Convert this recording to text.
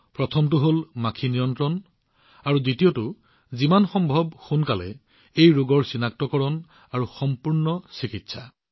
এটা হল বালি মাখিৰ নিয়ন্ত্ৰণ আৰু দ্বিতীয়তে যিমান সম্ভৱ সোনকালে এই ৰোগৰ নিৰ্ণয় আৰু সম্পূৰ্ণ চিকিৎসা